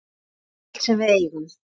Bara allt sem við eigum.